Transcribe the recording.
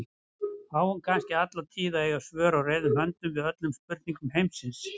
Á hún kannski alla tíð að eiga svör á reiðum höndum við öllum spurningum heimsins?